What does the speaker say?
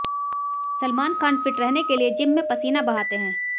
Salman Khan fit रहने के लिए जिम में पसीन बहाते हैं